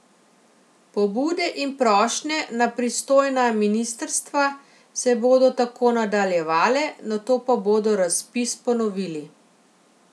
Pobude in prošnje na pristojna ministrstva se bodo tako nadaljevale, nato pa bodo razpis ponovili.